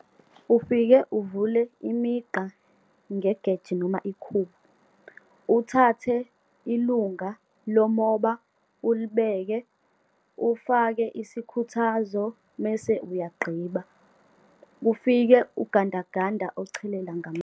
Ufike uvule imigqa ngegeja, noma ikhubu, uthathe ilunga lomoba ulibeke, ufake isikhuthazo mese uyagqiba. Kufike ugandaganda ochelela ngama.